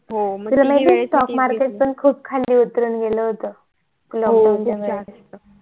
हो तुला माहित ये stock market पण खूप खाली उतरून गेलं होत lockdown च्या वेळेस